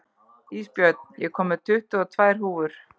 Ísbjörn, ég kom með tuttugu og tvær húfur!